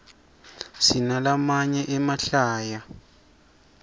sinalamaye emahlaya